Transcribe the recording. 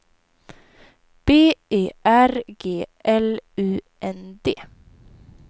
B E R G L U N D